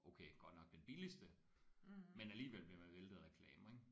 Okay godt nok den billigste men alligevel bliver man væltet af reklamer ik